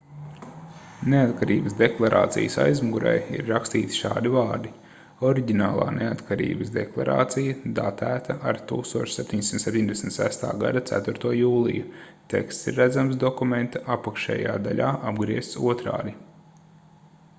neatkarības deklarācijas aizmugurē ir rakstīti šādi vārdi oriģinālā neatkarības deklarācija datēta ar 1776. gada 4. jūliju teksts ir redzams dokumenta apakšējā daļā apgriezts otrādi